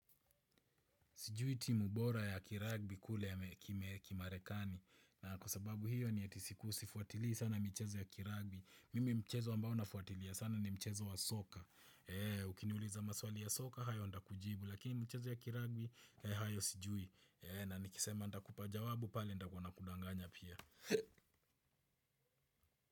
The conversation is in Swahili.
Sijui timu bora ya kiragbi kule ya mekimarekani na kwa sababu hiyo ni eti siku sifuatili sana michezo ya kiragbi. Mimi mchezo ambao nafuatilia sana ni mchezo wa soka. Eee ukiniuliza maswali ya soka hayo ndakujibu lakini mchezo ya kiragbi hayo sijui. Eee na nikisema ndakupa jawabu pale ndakwa nakudanganya pia.